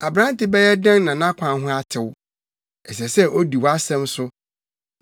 Aberante bɛyɛ dɛn na nʼakwan ho atew? Ɛsɛ sɛ odi wʼasɛm so.